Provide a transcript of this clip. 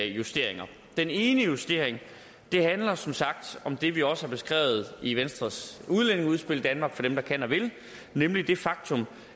justeringer den ene justering handler som sagt om det vi også har beskrevet i venstres udlændingeudspil danmark for dem der kan og vil nemlig det faktum